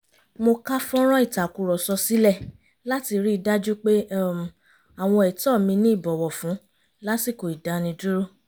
mo ká fọ́nrán ìtakùrọ̀sọ sílẹ̀ láti rí i dájú pé um àwọn ẹ̀tọ́ mí ní ìbọ̀wọ̀fún lásìkò ìdánidúró